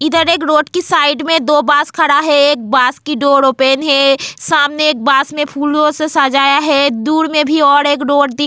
इधर एक रोड की साइड में दो बस खड़ा है एक बास की डोर ओपन है सामने एक बास में फूलों से सजाया है दूर में भी और एक डोर दी.